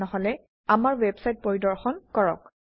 নহলে আমাৰ ওয়েবসাইট পৰিদৰ্শন কৰক